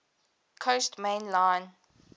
coast main line